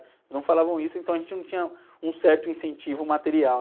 Não falavam isso, então a gente não tinha um certo incentivo material.